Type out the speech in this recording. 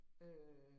Øh